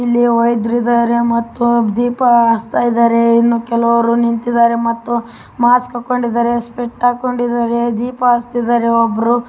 ಇಲ್ಲಿವ್ಯದ್ರ ಇದ್ದಾರೆ ಮತ್ತು ದೀಪ ಹಚ್ಚತ್ತಾ ಇದ್ದಾರೆ. ಇನ್ನು ಕೆಲವರು ನಿಂತಿದ್ದಾರೆ ಮತ್ತು ಮಾಸ್ಕ್‌ ಹಾಕಿಕೊಂಡಿದ್ಧಾರೆ. ಸ್ಪೆಕ್ಸ್‌ ಹಾಕಿಕೊಂಡಿದ್ದಾರೆ ದೀಪ ಹಚ್ಚುತ್ತಿದ್ದಾರೆ ಒಬ್ರೂ.